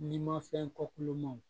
N'i ma fɛn kolon